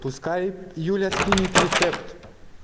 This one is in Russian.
пускай юля скинет рецепт